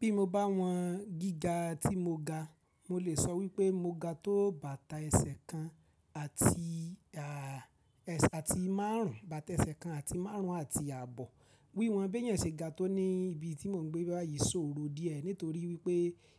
Bí mo bá wọn gíga tí mo ga, mo lè sọ wípé mo ga tó bàtà ẹsẹ̀ kan àti, àti márùn ún, bàtà ẹsẹ̀ kan àti márùn ún àti ààbọ̀. Wíwọ́n bí èèyàn se ga tó ní ibi tí mò ń gbé báyìí ṣòro díẹ̀ nítorí wípé